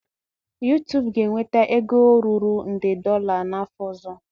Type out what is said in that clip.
YuTubu ga-enweta ego ruru nde dolla n'afọ ọzọ.